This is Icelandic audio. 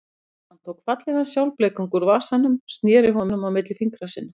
Hann tók fallegan sjálfblekung úr vasanum og sneri honum milli fingra sér.